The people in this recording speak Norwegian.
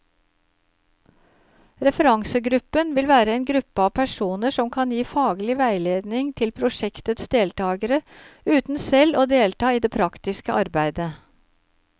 Referansegruppen vil være en gruppe av personer som kan gi faglig veiledning til prosjektets deltagere, uten selv å delta i det praktiske arbeidet.